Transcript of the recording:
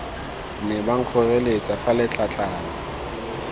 ne ba nkgoreletsa fa letlatlana